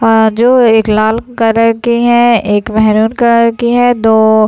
अअअ जो एक लाल कलर के है एक मेरून कलर के है दो--